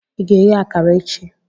Ị ga-eghe akara echi?